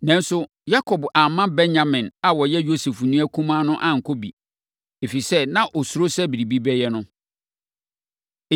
Nanso, Yakob amma Benyamin a ɔyɛ Yosef nua kumaa no ankɔ bi, ɛfiri sɛ, na ɔsuro sɛ biribi bɛyɛ no.